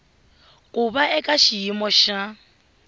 ku va eka xiyimo xa